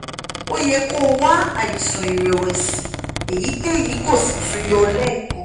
o yẹ kó o wá àìsàn ìrẹ̀wẹ̀sì èyíkéyìí kó o sì tún yọ̀ ọ́ lẹ́ẹ̀kan